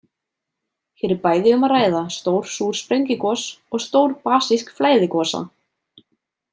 Hér er bæði um að ræða stór súr sprengigos og stór basísk flæðigosa.